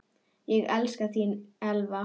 Ég elska þig, þín Elva.